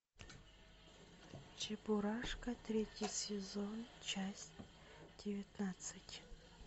чебурашка третий сезон часть девятнадцать